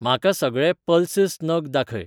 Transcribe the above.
म्हाका सगळे पल्सस नग दाखय.